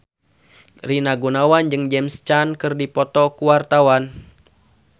Rina Gunawan jeung James Caan keur dipoto ku wartawan